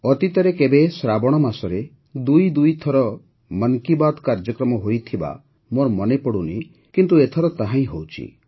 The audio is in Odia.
ଅତୀତରେ କେବେ ଶ୍ରାବଣ ମାସରେ ଦୁଇ ଦୁଇ ଥର ମନ୍ କି ବାତ୍ କାର୍ଯ୍ୟକ୍ରମ ହୋଇଥିବା ମୋର ମନେ ପଡ଼ୁନି କିନ୍ତୁ ଏଥର ତାହା ହେଉଛି